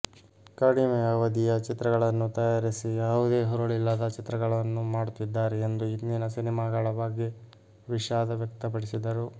ಕಡಿಮೆ ಅವಧಿಯ ಚಿತ್ರಗಳನ್ನು ತಯಾರಿಸಿ ಯಾವುದೇ ಹುರುಳಿಲ್ಲದ ಚಿತ್ರಗಳನ್ನು ಮಾಡುತ್ತಿದ್ದಾರೆ ಎಂದು ಇಂದಿನ ಸಿನಿಮಾಗಳ ಬಗ್ಗೆ ವಿಷಾದ ವ್ಯಕ್ತಪಡಿಸಿದರು